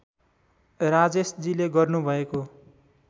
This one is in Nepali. राजेशजीले गर्नु भएको